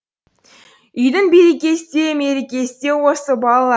үйдің берекесі де мерекесі де осы бала